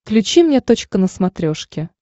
включи мне точка на смотрешке